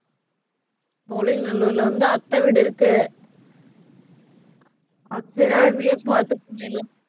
சோழிங்கநல்லூர்ல வந்து அத்தை வீடு இருக்கு சரி அங்கேயே பாத்து போய்டலாம்